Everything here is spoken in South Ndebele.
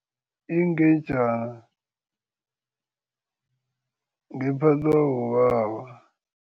Ingejana ngephathwa bobaba.